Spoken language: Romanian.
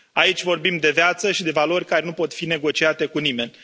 Aici vorbim de viață și de valori care nu pot fi negociate cu nimeni.